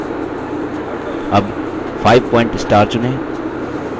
अब 5point star चुनें